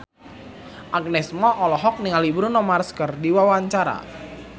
Agnes Mo olohok ningali Bruno Mars keur diwawancara